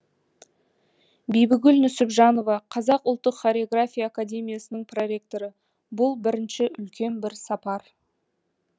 бибігүл нүсіпжанова қазақ ұлттық хореография академиясының проректоры бұл бірінші үлкен бір сапар